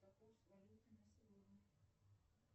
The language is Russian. курс валюты на сегодня